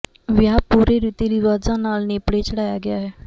ਵਿਆਹ ਪੂਰੇ ਰਿਤੀ ਰਿਵਾਜ਼ਾਂ ਨਾਲ ਨੇਪਰੇ ਚੜਾਇਆ ਗਿਆ ਹੈ